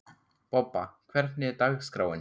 Bobba, hvernig er dagskráin?